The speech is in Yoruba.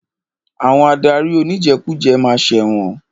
Àwọn adarí oníjẹkújẹ ma ṣẹ̀wọ̀n.